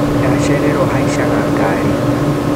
Ndacererwo haicaga gari.